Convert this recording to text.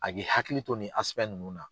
A k'i hakili to ni ninnu na.